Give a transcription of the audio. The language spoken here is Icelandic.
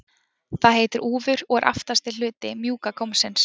það heitir úfur og er aftasti hluti mjúka gómsins